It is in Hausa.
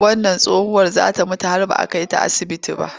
Wannan tsohuwar za ta mutu har ba a kai ta asibiti ba.